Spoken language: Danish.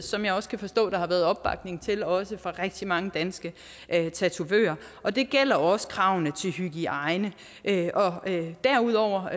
som jeg kan forstå at der har været opbakning til også fra rigtig mange danske tatovører og det gælder også kravene til hygiejne derudover